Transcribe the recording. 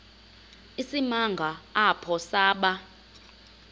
isimanga apho saba